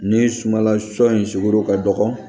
Ni sumanla sɔ in sugɔro ka dɔgɔ